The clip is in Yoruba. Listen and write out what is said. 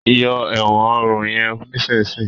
yọ èwòn òrun yen nísìsiyìí!